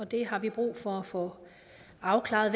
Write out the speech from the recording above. det har vi brug for at få afklaret